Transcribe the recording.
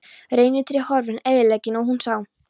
Reynitrén horfin- eyðileggingin- og hún sá.